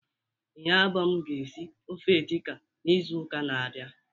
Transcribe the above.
Iniobong ga esi ofe edi kan n'izu uka na-abịa.